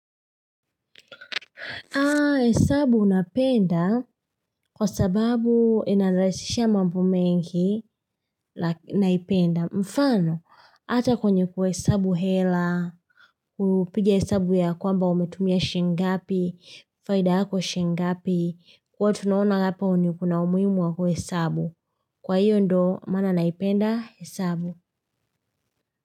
Haa, hesabu unapenda kwa sababu ina lahisha mambo mengi naipenda. Mfano, ata kwenye kwa hesabu hela, upige hesabu ya kwamba umetumia shingapi, faida kwa shingapi, kwa tunaona hapo kuna umuhimu wa kwa hesabu. Kwa hiyo ndo, maana naipenda hesabu.